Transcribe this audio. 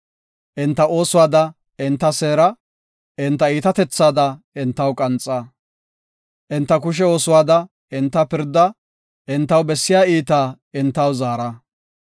Enta oosuwada enta seera; enta iitatethaada entaw qanxa. Enta kushe oosuwada enta pirda; entaw bessiya iitaa entaw zaara.